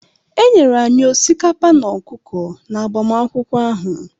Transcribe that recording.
E nyere anyị osikapa na ọkụkọ n'agbamakwụkwọ ahụ.